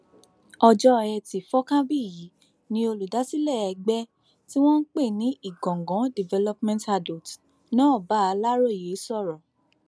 ọjọ etí furcabee yìí ni olùdásílẹ ẹgbẹ tí wọn ń pè ní ìgangan development adotes náà bá aláròye sọrọ